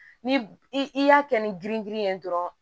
Ni i y'a kɛ ni girin girin ye dɔrɔn